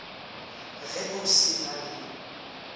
ge o se na le